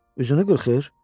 Üzünü qırxır?